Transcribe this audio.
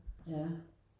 Ja